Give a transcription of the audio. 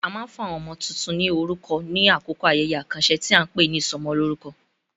A máa ń fún àwọn ọmọ tuntun ní orúkọ ní àkókò ayẹyẹ àkànṣe tí a ń pè ní ìsọmọlórúkọ.